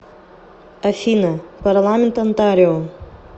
афина парламент онтарио